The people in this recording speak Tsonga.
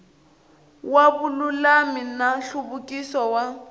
wa vululami na nhluvukiso wa